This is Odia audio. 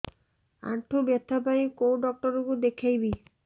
ଆଣ୍ଠୁ ବ୍ୟଥା ପାଇଁ କୋଉ ଡକ୍ଟର ଙ୍କୁ ଦେଖେଇବି